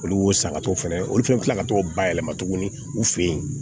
Olu y'o san ka t'o fɛnɛ olu fɛnɛ kila ka t'o bayɛlɛma tuguni u fɛ yen